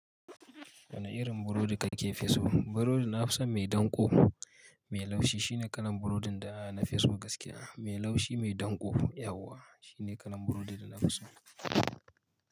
Wane irin burodi kake fi so? Burodi na fi son mai danƙo mai laushi. Shine kalan burodin da na fi so gaskiya. Mai laushi mai danƙo, yauwa shine kalan burodi da na fi so.